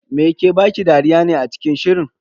Me ke baki dariya ne a cikin shirin?